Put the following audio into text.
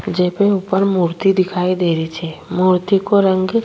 जे पे ऊपर मूर्ति दिखाई दे रही छे मूर्ति को रंग --